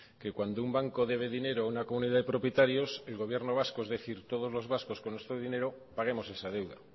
que cuando un banco debe dinero a una comunidad de propietarios el gobierno vasco es decir todos los vascos con nuestro dinero paguemos esa deuda